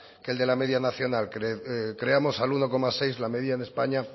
que el de la media nacional creamos el uno coma seis y la media en españa